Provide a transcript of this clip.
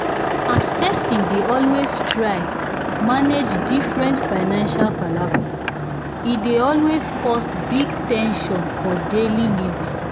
as person dey always try manage different financial palava e dey always cause big ten sion for daily living.